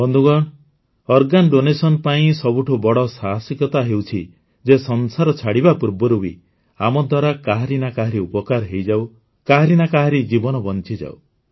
ସାଥୀଗଣ ଅଙ୍ଗଦାନ ପାଇଁ ସବୁଠୁ ବଡ଼ ସାହସିକତା ହେଉଛି ଯେ ସଂସାର ଛାଡ଼ିବା ପୂର୍ବରୁ ବି ଆମଦ୍ୱାରା କାହାରି ନା କାହାରି ଉପକାର ହୋଇଯାଉ କାହାରି ନା କାହାରି ଜୀବନ ବଂଚିଯାଉ